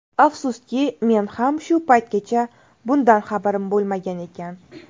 Afsuski, men ham shu paytgacha bundan xabarim bo‘lmagan ekan.